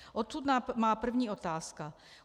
Odtud má první otázka.